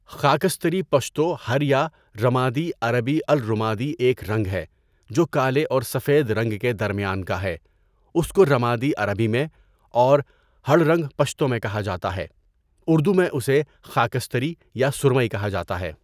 خاکستری پشتو هړ یا رمادی عربی الرُمَادي ایک رنگ ہے جو کالے اور سفید رنگ کے درمیان کا ہے اس کو رمادی عربی میں اور ہڑ رنگ پشتو میں کہا جاتا ہے اردو میں اسے خاکستری یا سرمئی کہاجاتا ہے.